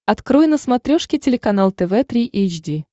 открой на смотрешке телеканал тв три эйч ди